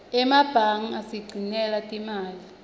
emebange asigcinela timali